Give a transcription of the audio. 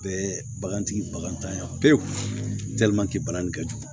Bɛɛ bagantigi baganya pewu kɛ jugu